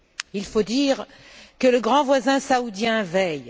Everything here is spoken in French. Il faut dire que le grand voisin saoudien veille.